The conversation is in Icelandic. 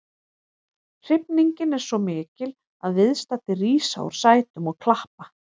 Hrifningin er svo mikil að viðstaddir rísa úr sætum og klappa.